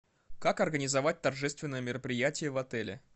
как организовать торжественное мероприятие в отеле